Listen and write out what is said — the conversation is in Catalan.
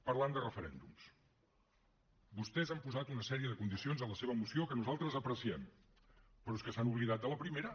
parlant de referèndums vostès han posat una sèrie de condicions en la seva moció que nosaltres apreciem però és que s’han oblidat de la primera